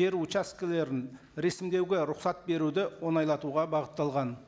жер участкілерін рәсімдеуге рұқсат беруді оңайлатуға бағытталған